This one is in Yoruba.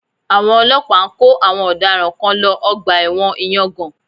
Àwọn ọlọ́pàá ń kó àwọn ọ̀daràn kan lọ Ọgbà ẹ̀wọ̀n ìyangàn